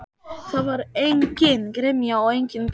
Það var engin gremja og engin beiskja.